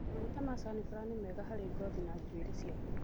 Maguta ma caniflawa nĩ mega harĩ ngothi na njuĩrĩ ciaku.